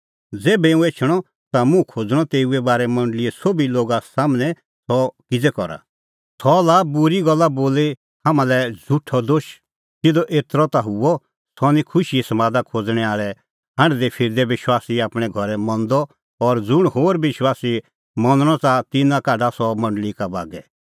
ज़ेभै हुंह एछणअ ता मुंह खोज़णअ तेऊए बारै मंडल़ीए सोभी लोगा सम्हनै कि सह किज़ै करा सह लाआ बूरी गल्ला बोली हाम्हां लै झ़ुठअ दोश सिधअ एतरअ ता हुअ सह निं खुशीए समादा खोज़णैं आल़ै हांढदै फिरदै विश्वासी आपणैं घरै मंदअ और ज़ुंण होर विश्वासी मनणअ च़ाहा तिन्नां काढा सह मंडल़ी का बागै